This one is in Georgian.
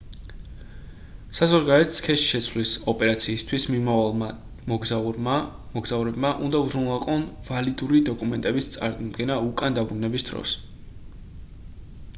საზღვარგარეთ სქესის შეცვლის ოპერაციისთვის მიმავალმა მოგზაურებმა უნდა უზრუნველყონ ვალიდური დოკუმენტების წარდგენა უკან დაბრუნების დროს